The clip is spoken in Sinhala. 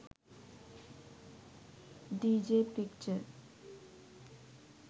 dj picture